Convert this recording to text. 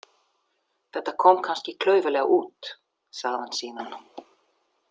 Þetta kom kannski klaufalega út, sagði hann síðan.